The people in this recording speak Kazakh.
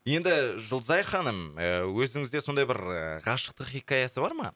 енді жұлдызай ханым і өзіңізде сондай бір ы ғашықтық хикаясы бар ма